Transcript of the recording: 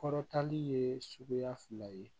Kɔrɔtanni ye suguya fila ye